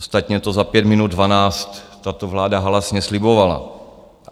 Ostatně to za pět minut dvanáct tato vláda halasně slibovala.